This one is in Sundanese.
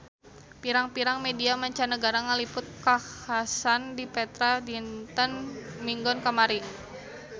Pirang-pirang media mancanagara ngaliput kakhasan di Petra dinten Minggon kamari